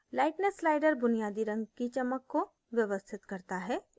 lightness slider बुनियादी रंग की चमक को व्यवस्थित करता है